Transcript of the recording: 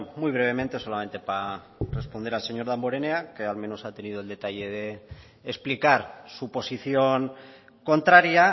muy brevemente solamente para responder al señor damborenea que al menos ha tenido el detalle de explicar su posición contraria